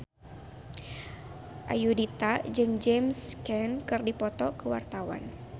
Ayudhita jeung James Caan keur dipoto ku wartawan